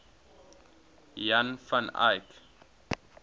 jan van eyck